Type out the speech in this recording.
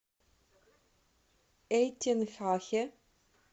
эйтенхахе